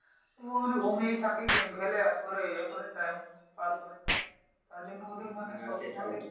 ও মনে হয় ঘুমিয়ে থাকে গেম খেলে আর করে ইয়ে করে time পার করে তার জন্য ওদের মানে চশমাতে